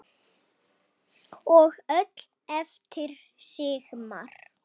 Og öll eftir Sigmar.